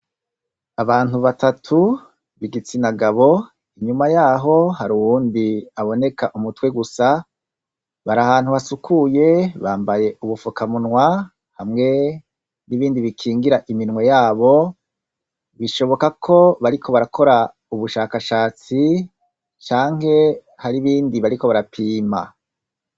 Abantu batatu b'igitsina gabo, inyuma yaho har'wundi aboneka umutwe gusa, bar'ahantu hasukuye bambaye ubufukamunwa hamwe n'ibindi bikingira iminwe yabo, bishoboka ko bariko barakora ubushakashatsi canke har'ibindi bariko barapimi.